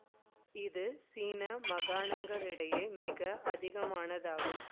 இது சீன மாகாணங்களிடையே மிக அதிகமானதாகும்